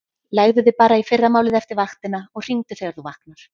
Leggðu þig bara í fyrramálið eftir vaktina og hringdu þegar þú vaknar.